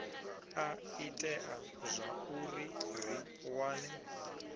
a itea zwauri ri wane